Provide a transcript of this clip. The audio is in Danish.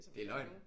Det er løgn